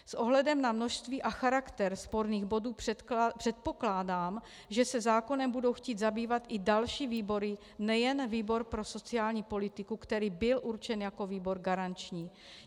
S ohledem na množství a charakter sporných bodů předpokládám, že se zákonem budou chtít zabývat i další výbory, nejen výbor pro sociální politiku, který byl určen jako výbor garanční.